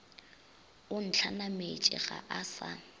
o ntlhanametše ga a sa